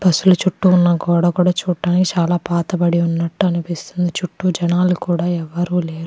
Bus లు చుట్టూ ఉన్న గోడ కూడా చూడ్డానికి చాలా పాతబడి ఉన్నట్టు అనిపిస్తుంది చుట్టూ జనాలు కూడా ఎవ్వరు లేరు.